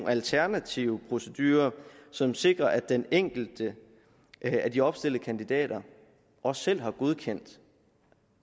alternative procedurer som sikrer at den enkelte af de opstillede kandidater også selv har godkendt